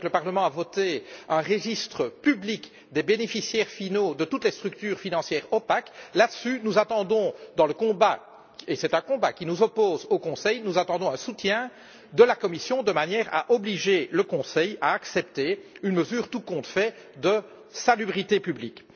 Vous savez que le Parlement a voté un registre public des bénéficiaires finaux de toutes les structures financières opaques. Nous attendons, dans le combat car c'est un combat qui nous oppose au Conseil, un soutien de la Commission, de manière à obliger le Conseil à accepter une mesure, tout compte fait, de salubrité publique.